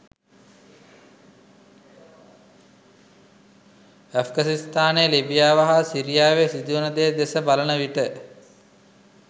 ඇෆ්ඝනිස්තානය ලිබියාව හා සිරියාවේ සිදුවන දේ දෙස බලන විට